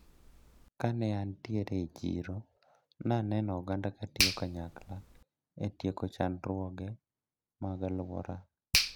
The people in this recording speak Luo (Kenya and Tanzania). Kane antiere e chiro naneno oganda katiyo kanyakla e tieko chandruoge mag aluora.